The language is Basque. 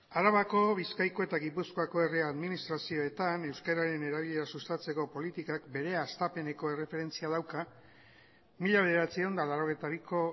arabako bizkaiko eta gipuzkoako herri administrazioetan euskararen erabilera sustatzeko politikak bere hastapeneko erreferentzia dauka mila bederatziehun eta laurogeita biko